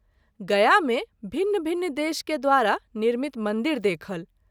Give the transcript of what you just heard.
गया मे भिन्न- भिन्न देश के द्वारा निर्मित मंदिर देखल।